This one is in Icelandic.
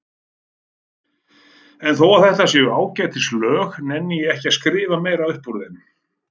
En þótt þetta séu ágætis lög nenni ég ekki að skrifa meira upp úr þeim.